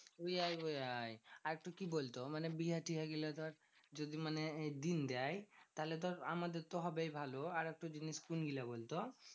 উইয়াই উইয়াই আর তু কি বলতো? মানে বিহা টিহা গুলা ধর যদি মানে এই দিন দেয়, তাহলে তো আমাদের তো হবেই ভালো। আরেকটা জিনিস কোনগুলা বলতো?